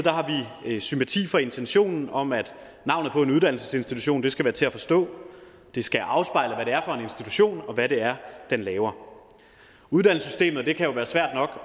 sympati for intentionen om at navnet på en uddannelsesinstitution skal være til at forstå det skal afspejle institution og hvad det er den laver uddannelsessystemet kan jo være svært nok